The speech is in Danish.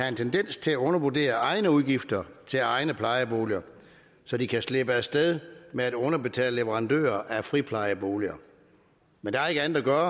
en tendens til at undervurdere egne udgifter til egne plejeboliger så de kan slippe af sted med at underbetale leverandører af friplejeboliger men der er ikke andet at gøre